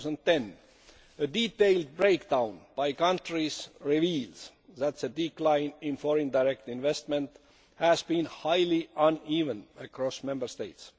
2010. A detailed breakdown by country reveals that the decline in foreign direct investment has been highly uneven across Member States.